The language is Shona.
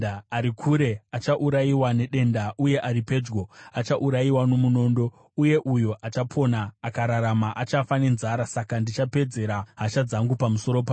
Ari kure achaurayiwa nedenda, uye ari pedyo achaurayiwa nomunondo, uye uyo achapona akararama, achafa nenzara. Saka ndichapedzera hasha dzangu pamusoro pavo.